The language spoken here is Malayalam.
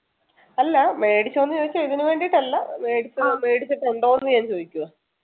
അല്ല മേടിച്ചോ ന്നു ചോദിച്ചാൽ ഇതിനു വേണ്ടിട്ടല്ല മേടിച്ച മേടിച്ചിട്ടുണ്ടോ ന്നു ഞാൻ ചോദിക്കുവാ